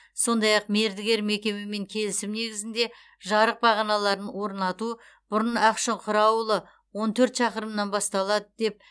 сондай ақ мердігер мекемемен келісім негізінде жарық бағаналарын орнату бұрын ақшұқыр ауылы он төрт шақырымнан басталады деп